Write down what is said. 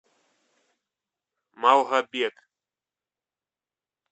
малгобек